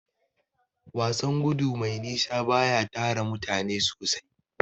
Wasan gudu mai nisa baya tara mutane sosai.